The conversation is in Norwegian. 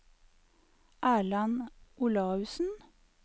Erland Olaussen